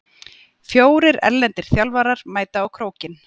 Fjórir erlendir þjálfarar mæta á Krókinn